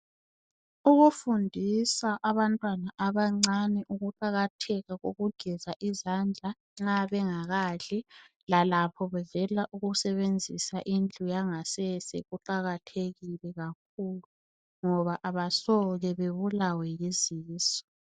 Ukufundisa abantwana abancane ukuqakatheka kokugeza izandla nxa bengakadli lalapho bevela sebenzisa indlu yangasese ukuqakathekile kakhulu ngoba abasoke bebulawe yizisu.